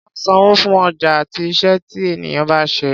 A máa ń sanwó fún ọjà àti iṣẹ́ tí ènìyàn bá ṣe.